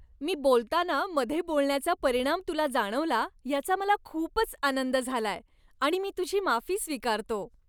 मी बोलताना मधे बोलण्याचा परिणाम तुला जाणवला याचा मला खूपच आनंद झालाय आणि मी तुझी माफी स्वीकारतो.